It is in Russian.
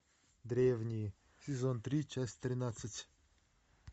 древние сезон три часть тринадцать